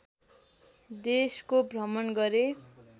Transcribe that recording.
देशको भ्रमण गरे